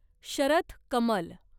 Sharath Kamal